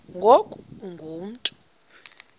ngoku ungu mntu